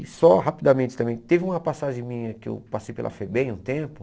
E só rapidamente também, teve uma passagem minha que eu passei pela FEBEM há um tempo.